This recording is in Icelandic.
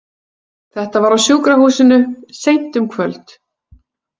Þetta var á sjúkrahúsinu, seint um kvöld.